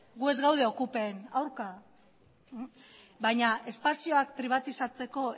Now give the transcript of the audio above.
gu ez gaude okupen aurka baina espazioak pribatizatzeko